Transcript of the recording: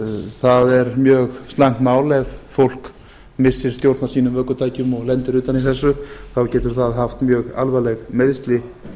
það er mjög slæmt mál ef fólk missir stjórn á sínum ökutækjum og lendir utan í þessu þá getur það haft mjög alvarleg meiðsli